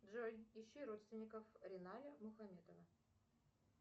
джой ищу родственников риная мухаметова